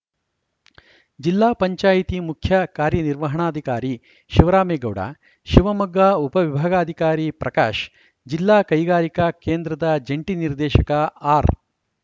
ಜಿಲ್ಲಾ ಪಂಚಾಯಿತಿ ಮುಖ್ಯ ಕಾರ್ಯನಿರ್ವಹಣಾಧಿಕಾರಿ ಶಿವರಾಮೇಗೌಡ ಶಿವಮೊಗ್ಗ ಉಪವಿಭಾಗಾಧಿಕಾರಿ ಪ್ರಕಾಶ್‌ ಜಿಲ್ಲಾ ಕೈಗಾರಿಕಾ ಕೇಂದ್ರದ ಜಂಟಿ ನಿರ್ದೇಶಕ ಆರ್‌